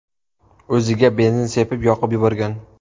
o‘ziga benzin sepib, yoqib yuborgan.